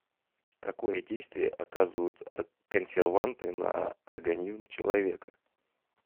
какое действие оказывают консерванты на организм человека